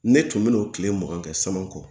Ne tun bena o tile mugan kɛ samakɔ